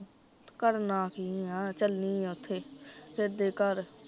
ਕਰਨਾ ਕੀ ਆ ਚੱਲੀ ਆ ਓਥੇ, ਸੇਧੇ ਘਰ